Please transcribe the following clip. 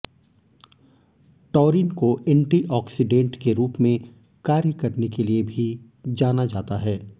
taurine को antioxidant के रूप में कार्य करने के लिए भी जाना जाता है